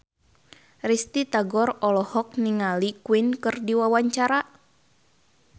Risty Tagor olohok ningali Queen keur diwawancara